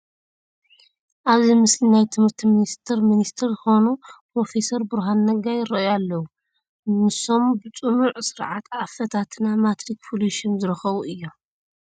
ኣብዚ ምስሊ ናይ ትምህርቲ ሚኒስትር ሚኒስተር ዝኾኑ ፕሮፌሰር ብርሃኑ ነጋ ይርአዩ ኣለዉ፡፡ ንሶም ብፅኑዕ ስርዓት ኣፈታትና ማትሪክ ፍሉይ ሽም ዝረኸቡ እዮም፡፡